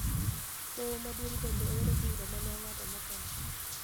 Doho Maduong' bende oro bura ma ne ong'ado motelo